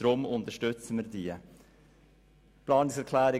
Deshalb unterstützen wir beide Planungserklärungen.